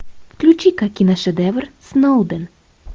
включи ка киношедевр сноуден